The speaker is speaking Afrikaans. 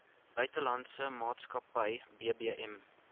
buitelandse maatskappy bbm